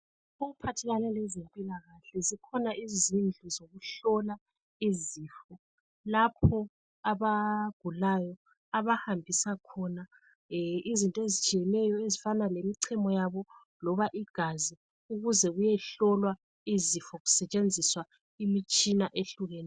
Okuphathelane lezempilakahle zikhona izindlu zokuhlola izifo lapho abagulayo abahambisa khona izinto ezitshiyeneyo ezifana lemichemo yabo loba igazi ukuze kuyehlolwa izifo kusetshenziswa imitshina ehlukeneyo